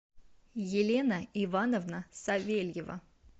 елена ивановна савельева